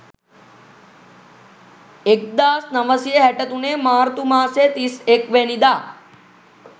එක්දාස් නවසිය හැටතුනේ මාර්තු මාසෙ තිස් එක් වැනිදා